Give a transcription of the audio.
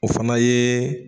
O fana ye